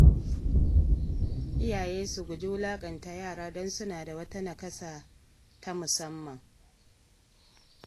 Iyaye su guji wulaƙanta yara don suna da wata naƙasa ta musamman.